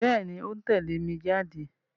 Bẹ́ẹ̀ni, ó ń tẹ̀lé mi jáde